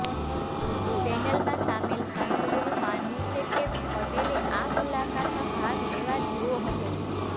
પેનલમાં શામેલ સાંસદોનું માનવું છે કે પટેલે આ મુલાકાતમાં ભાગ લેવા જેવો હતો